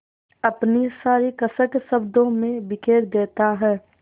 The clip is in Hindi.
अपनी सारी कसक शब्दों में बिखेर देता है